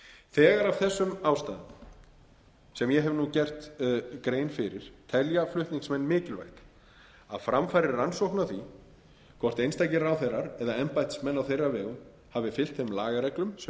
þegar af þessum ástæðum sem ég hef nú gert grein fyrir telja flutningsmenn mikilvægt að fram fari rannsókn á því hvort einstakir ráðherrar eða embættismenn á þeirra vegum hafi fylgt þeim lagareglum sem um